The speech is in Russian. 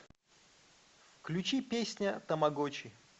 включи песня тамагочи